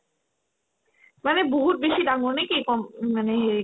মানে বহুত বেছি ডাঙৰ নেকি কম্ মানে হেৰি